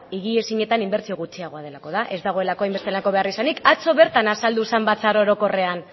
higiezinetan inbertsio gutxiago delako da ez dagoelako hainbesteko beharrizanik atzo bertan azaldu zen batzar orokorrean